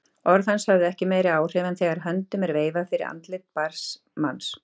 Orð hans höfðu ekki meiri áhrif en þegar höndum er veifað fyrir andliti blinds manns.